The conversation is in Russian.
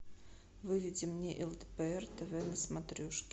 выведи мне лдпр тв на смотрешке